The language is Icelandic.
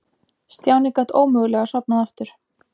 Stjáni gat ómögulega sofnað aftur.